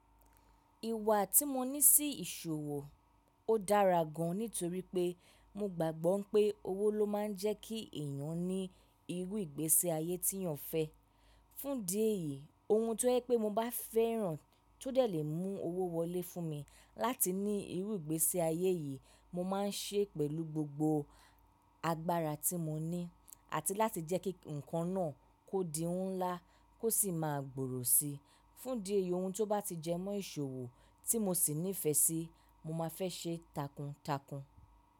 Ìwà tí mo ní sí ìṣòwò, ó dára gan nítorí pé mo gbàgbọ́ pé owó ló máa ń jẹ́ kí èèyàn ní irú ìgbésẹ ayé tí yàn fẹ́. Fún di èyí, ohun tó jẹ́ pé mo bá fẹ́ràn tó dẹ̀ le mú owó wọlé fún mi láti ní irú ìgbési ayé yìí mo máa ń ṣe pẹ̀lú gbogbo agbára tí mo ní àti láti jẹ́ kí nǹkan náà kó di ohun ńlá kó sì máa gbòòrò si. Fún di èyí ohun tó bá ti jẹ mọ́ ìṣòwò tí mo sì nífẹ̀ẹ́ síi mo máa fẹ́ ṣe takuntakun.